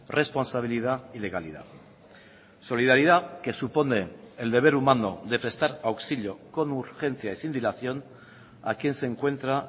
responsabilidad y legalidad solidaridad que supone el deber humano de prestar auxilio con urgencia y sin dilación a quien se encuentra